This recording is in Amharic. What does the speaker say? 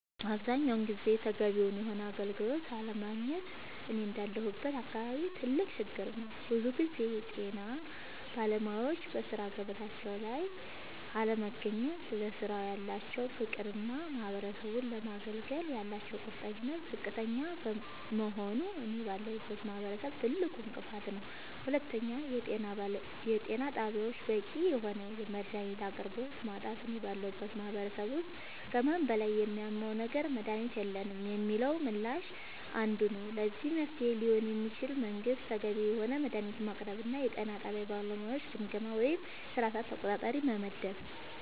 አብዛኛውን ጊዜ ተገቢውን የሆነ አገልግሎት አለማግኘት እኔ እንዳለሁበት አካባቢ ትልቅ ችግር ነዉ ብዙ ጊዜ የጤና ባለሙያወች በሥራ ገበታቸው ላይ አለመገኘት ለስራው ያላቸው ፍቅርና ማህበረሰቡን ለማገልገል ያላቸው ቁርጠኝነት ዝቅተኛ መሆኑ እኔ ባለሁበት ማህበረሰብ ትልቁ እንቅፋት ነዉ ሁለተኛው የጤና ጣቢያወች በቂ የሆነ የመድሃኒት አቅርቦት ማጣት እኔ ባለሁበት ማህበረሰብ ውስጥ ከህመሙ በላይ የሚያመው ነገር መድሃኒት የለንም የሚለው ምላሽ አንዱ ነዉ ለዚህ መፍትሄ ሊሆን የሚችለው መንግስት ተገቢውን የሆነ መድሃኒት ማቅረብና የጤና ጣቢያ ባለሙያወችን ግምገማ ወይም የስራ ሰዓት ተቆጣጣሪ መመደብ